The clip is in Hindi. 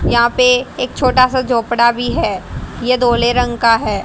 यहां पे एक छोटा सा झोपड़ा भी है ये दोलें रंग का है।